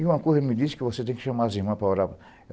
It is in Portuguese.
E uma coisa, ela me disse que você tem que chamar as irmãs para orar.